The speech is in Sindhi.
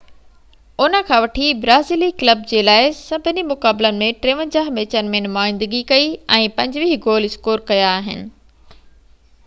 ان کان وٺي برازيلي ڪلب جي لاءِ سڀني مقابلن ۾ 53 ميچن ۾ نمائندگي ڪئي ۽ 25 گول اسڪور ڪيا آهن